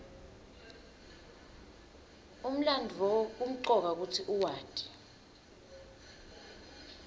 umlandvo kumcoka kutsi uwati